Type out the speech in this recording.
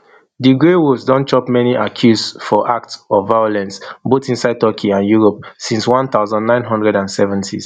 di grey wolves don chop many accuse for acts of violence both inside turkey and europe since one thousand, nine hundred and seventys